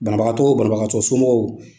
Banabagatɔ wo, banabagatɔ somɔgɔw